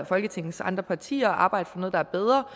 folketingets andre partier at arbejde for noget der er bedre